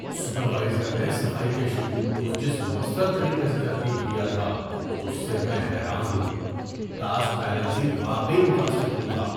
Supervisor نے صفائی کے شیڈول کو جس مؤثر طریقے سے ترتیب دیا تھا، اس سے میں حیران ہوں! ٹاسک بیلنسنگ واقعی متاثر کن تھا۔